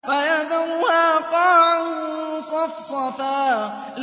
فَيَذَرُهَا قَاعًا صَفْصَفًا